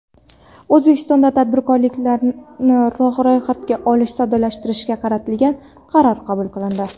O‘zbekistonda tadbirkorlikni ro‘yxatga olishni soddalashtirishga qaratilgan qaror qabul qilindi.